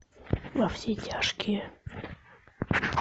во все тяжкие